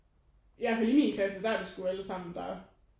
Ja i hvert fald i min klasse der er det sgu allesammen der